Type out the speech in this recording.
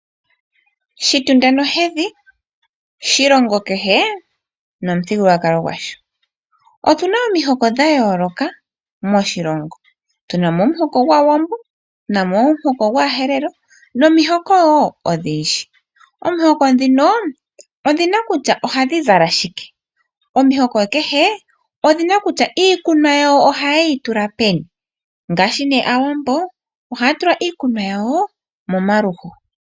Shitunda nohedhi shilongo kehe nomuthigululwakalo gwasho. Otu na omihoko dha yooloka moshilongo. Tu na mo omuhoko gwAawambo, tu na mo omuhoko gwAaherero nomihoko wo odhindji. Omihoko ndhino odhi na kutya ohadhi zala shike. Omihoko kehe odhi na kutya iikunwa yawo ohaye yi tula peni; ngaashi Aawambo iikunwa yawo ohaye yi tula momaluyo.